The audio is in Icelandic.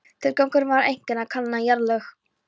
Tilgangurinn var einkum að kanna jarðlög.